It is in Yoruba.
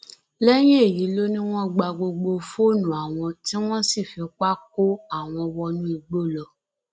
lẹyìn èyí ló ní wọn gba gbogbo fóònù àwọn tí wọn sì fipá kó àwọn wọnú igbó lọ